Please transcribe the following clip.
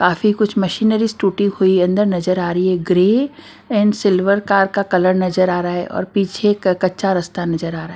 काफी कुछ मशीनरीज टूटी हुई अंदर नजर आ रही है ग्रे एंड सिल्वर कार का कलर नजर आ रहा है और पीछे कच्चा रास्ता नजर आ रहा है।